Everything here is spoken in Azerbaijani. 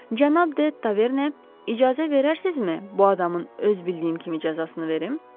Cənab Detaverne, icazə verərsinizmi bu adamın öz bildiyim kimi cəzasını verim?